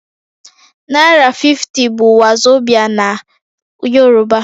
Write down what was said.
Naira 50 bụ wazobia na Yorùbá